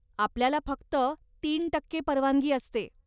आपल्याला फक्ततीन टक्के परवानगी असते.